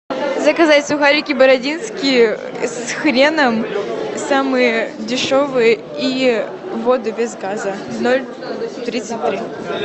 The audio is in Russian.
заказать сухарики бородинские с хреном самые дешевые и воду без газа ноль тридцать три